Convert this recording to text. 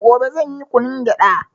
Gobe zanyi kunun gyada